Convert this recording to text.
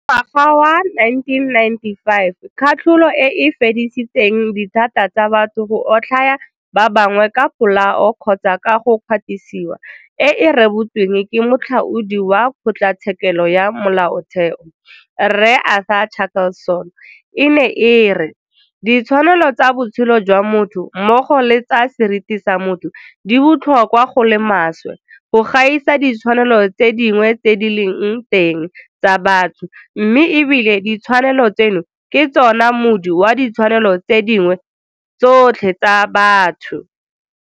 Ka ngwaga wa 1995 katlholo e e fedisitseng dithata tsa batho go otlhaya ba bangwe ka polao kgotsa ka go kgwatisiwa e e rebotsweng ke Moatlhodi wa Kgotlatshekelo ya Molaotheo, Rre Arthur Chaskalson e ne e re. Ditshwanelo tsa botshelo jwa motho mmogo le tsa seriti sa motho di botlhokwa go le maswe go gaisa ditshwanelo tse dingwe tse di leng teng tsa batho mme ebile ditshwanelo tseno ke tsona moodi wa ditshwanelo tse dingwe tsotlhe tsa batho.